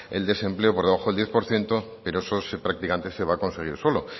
el desempleo por debajo del diez por ciento pero eso prácticamente se va a conseguir solo